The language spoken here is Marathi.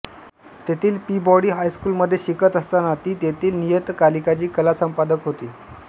तेथील पीबॉडी हायस्कूलमध्ये शिकत असताना ती तेथील नियतकालिकाची कलासंपादक होती